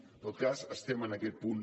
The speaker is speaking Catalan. en tot cas estem en aquest punt